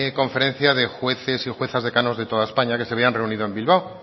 conferencia de jueces y juezas decanos de toda españa que se habían reunido en bilbao